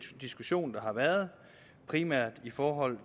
diskussion der har været primært i forhold